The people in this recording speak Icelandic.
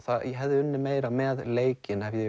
ég hefði unnið meira með leikinn hefði ég